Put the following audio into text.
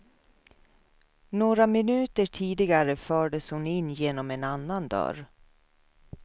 Några minuter tidigare fördes hon in genom en annan dörr.